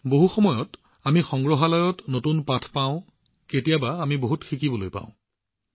কেতিয়াবা আমি সংগ্ৰহালয়ত নতুন পাঠ শিকোঁ কেতিয়াবা আমি বহুত শিকিবলৈ পাওঁ